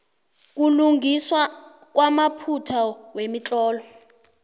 ukulungiswa kwamaphutha wemitlolo